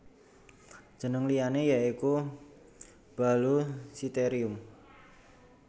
Jeneng liyane ya iku Baluchitherium